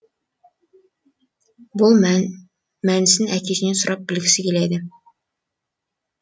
бұның мәнісін әкесінен сұрап білгісі келеді